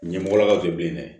Ɲɛmɔgɔlakaw de be yen dɛ